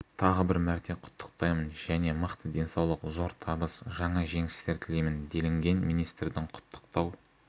тағы бір мәрте құттықтаймын және мықты денсаулық зор табыс жаңа жеңістер тілеймін делінген министрдің құттықтау